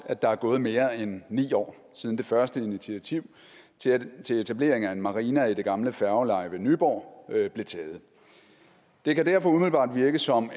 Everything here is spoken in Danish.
at der er gået mere end ni år siden det første initiativ til etablering af en marina i det gamle færgeleje ved nyborg blev taget det kan derfor umiddelbart virke som